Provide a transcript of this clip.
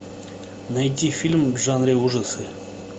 найти фильм в жанре ужасы